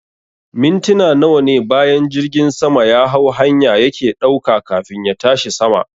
Mintina nawane bayan jirgin sama yahau hanya yake ɗauka kafin ya tashi sama